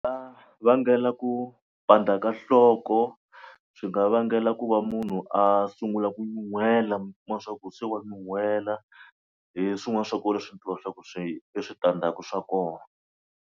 Vangela ku pandza ka nhloko, swi nga vangela ku va munhu a sungula ku nyuhela mi kuma swa ku se wa nyuhela. Hi swin'wana swa kona leswi leswaku swi i switandzhaku swa kona.